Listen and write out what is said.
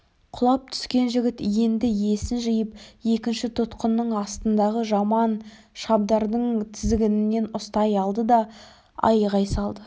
құлап түскен жігіт енді есін жиып екінші тұтқынның астындағы жаман шабдардың тізгінінен ұстай алды да айғай салды